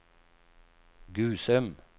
Gusum